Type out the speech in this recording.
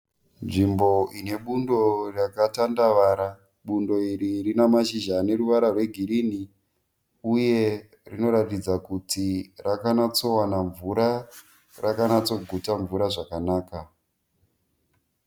Nzvimbo ine budo rakatandavara. Budo iri rina mashizha ane ruwara rwe girini, uye rinoratidza kuti rakanatsowana mvura rakanatsoguta mvura zvakanaka.